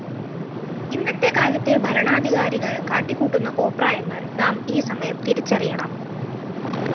ഇന്നത്തെകാലത്തെ ഭരണാധികാരികള്‍ കാട്ടിക്കൂട്ടുന്ന കോപ്രായങ്ങല്‍ നാം ഈസമയം തിരിച്ചറിയണം